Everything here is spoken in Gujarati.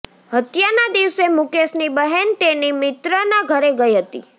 હત્યાના દિવસે મુકેશની બહેન તેની મિત્રના ઘરે ગઈ હતી